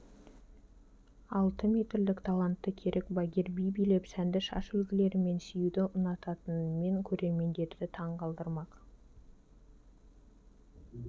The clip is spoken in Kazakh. алты метрлік талантты керік багир би билеп сәнді шаш үлгілері мен сүюді ұнататынымен көрермендерді таң қалдырмақ